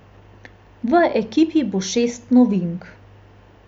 V ekipi bo šest novink.